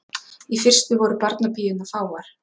Í fyrstu voru barnapíurnar fáar.